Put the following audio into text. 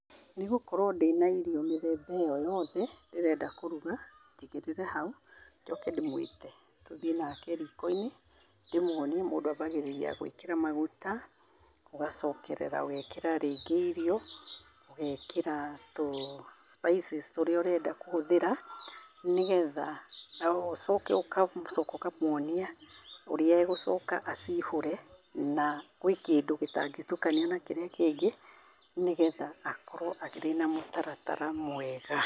Nĩ gũkorwo ndĩna irio mĩthemba ĩyo yothe ndĩrenda kũruga, njigĩrĩre hau njoke ndĩmwite. Tũthi nake riiko-inĩ, ndĩmwonie mũndũ ambagĩrĩria gwĩkĩra maguta, ũgacokerera ũgeekĩra rĩngĩ irio, ũgeekĩra tũspices tũrĩa ũrenda kũhũthĩra nĩgetha, ũcoke, ũgacoka ũkamwonia ũrĩa egũcoka aciihũre. Na, kwĩ kĩndũ gĩtangĩtukanio na kĩrĩa kĩngĩ, nĩgetha akorwo akĩrĩ na mũtaratara mwega.